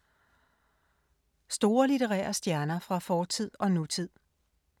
Store litterære stjerner fra fortid og nutid